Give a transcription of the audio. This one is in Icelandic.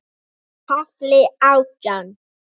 KAFLI ÁTJÁN